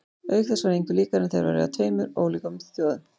Auk þess var engu líkara en þeir væru af tveim ólíkum þjóðum.